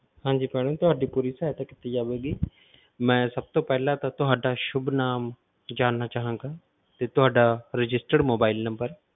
ਹਾਂਜੀ madam ਤੁਹਾਡੀ ਪੂਰੀ ਸਹਾਇਤਾ ਕੀਤੀ ਜਾਵੇਗੀ ਮੈਂ ਸਭ ਤੋਂ ਪਹਿਲਾਂ ਤਾਂ ਤੁਹਾਡਾ ਸੁੱਭ ਨਾਮ ਜਾਣਨਾ ਚਾਹਾਂਗਾ, ਤੇ ਤੁਹਾਡਾ registered mobile number